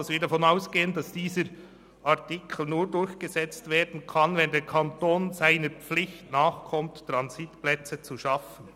Demzufolge gehen wir davon aus, dass dieser Artikel nur durchgesetzt werden kann, wenn der Kanton seiner Pflicht nachkommt, Transitplätze zu schaffen.